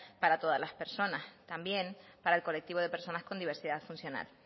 para todas las personas también para el colectivo de personas con diversidad funcional